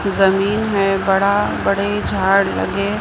जमीन है बड़ा बड़े झाड़ लगे--